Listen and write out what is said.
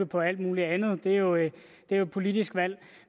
på alt muligt andet og det er jo et politisk valg